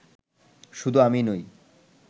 শুধু আমি নই